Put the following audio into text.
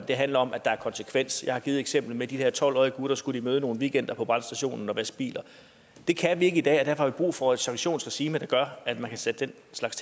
det handler om at der er konsekvens jeg har givet det eksempel med de her tolv årige gutter skulle møde nogle weekender på brandstationen og vaske biler det kan vi ikke i dag og derfor har vi brug for et sanktionsregime der gør at man kan sætte den slags